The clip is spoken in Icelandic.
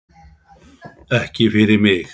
Ekki fyrir mig!